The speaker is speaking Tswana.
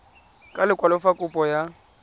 ka lekwalo fa kopo ya